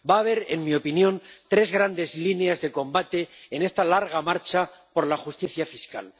Va a haber, en mi opinión, tres grandes líneas de lucha en esta larga marcha por la justicia fiscal.